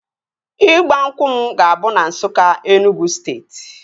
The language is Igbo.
Ịgba nkwụ m ga-abụ na Nsukka, Enugwu steeti